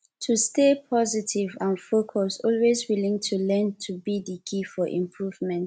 to stay positive and focus always willing to learn be di key for improvement